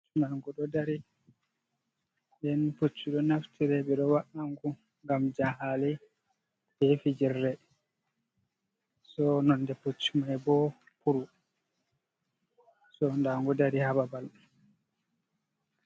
Ndangu ɗo dari nden pucchu ɗo naftire ɓeɗo waangu ngam jahale hefijirre, so nonde pucch mai bo puru so ndangu dari haa babal.